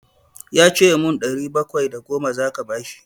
Ya ce min ɗari bakwai da goma za ka bashi.